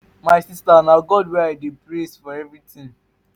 my sister na god wey i dey praise for everything.